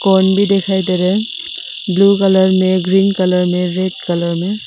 कोन भी दिखाई दे रहा है ब्लू कलर में ग्रीन कलर में रेड कलर में।